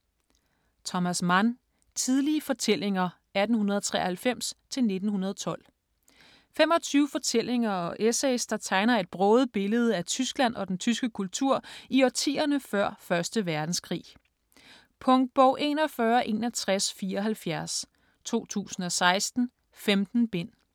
Mann, Thomas: Tidlige fortællinger 1893-1912 25 fortællinger og essays, der tegner et broget billede af Tyskland og den tyske kultur i årtierne før 1. verdenskrig. Punktbog 416174 2016. 15 bind.